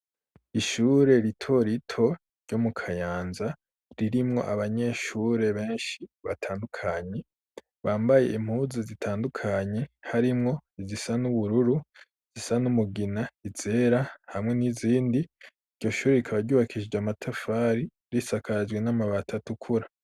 Ishure ritorito ryo mu Kayanza ririmwo abanyeshure benshi batandukanyi bambaye impuzi zitandukanye harimwo izisa n'ubururu zisa n'umugina izera hamwe n'izindi .Iryo shuri ikabagubakisije amatafari risakajwe n'amabati tukura.